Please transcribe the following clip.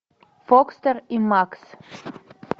фокстер и макс